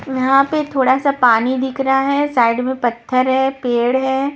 यहाँ पे थोड़ा सा पानी दिख रहा है साइड में पत्थर है पेड़ है।